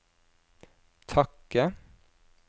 takke